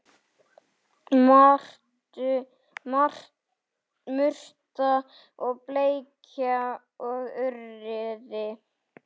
Murta og bleikja og urriði